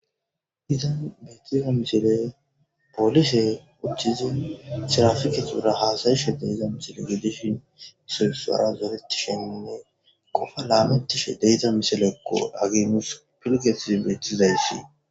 Izan betiza misiley polise uttidi tirapikera hasayishe misile gidishin sinthara zoretishe qopa lametishe misilekko hagey nusi piligethiyi betizaysi.